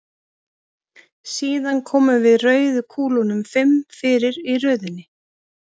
Síðan komum við rauðu kúlunum fimm fyrir í röðinni.